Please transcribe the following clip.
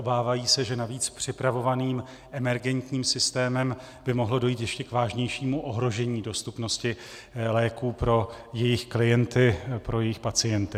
Obávají se, že navíc připravovaným emergentním systémem by mohlo dojít k ještě vážnějšímu ohrožení dostupnosti léků pro jejich klienty, pro jejich pacienty.